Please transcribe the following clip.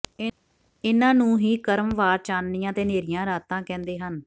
ਇਨ੍ਹਾਂ ਨੂੰ ਹੀ ਕਰਮ ਵਾਰ ਚਾਨਣੀਆਂ ਤੇ ਹਨੇਰੀਆਂ ਰਾਤਾਂ ਕਹਿੰਦੇ ਹਨ